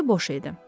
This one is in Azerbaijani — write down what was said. içi boş idi.